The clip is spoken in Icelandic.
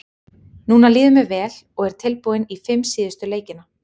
Núna líður mér vel og er tilbúinn í fimm síðustu leikina.